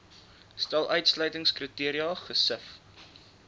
stel uitsluitingskriteria gesif